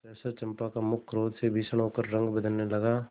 सहसा चंपा का मुख क्रोध से भीषण होकर रंग बदलने लगा